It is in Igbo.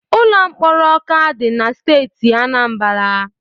Ụlọ mkpọrọ Ọka dị na Steeti Anambala.